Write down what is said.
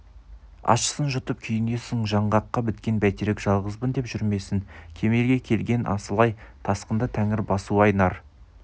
ащысын жұтып күйінесің жаңғаққа біткен бәйтерек жалғызбын деп жүрмесін кемелге келген асыл-ай тасқында тәңір басуы-ай нар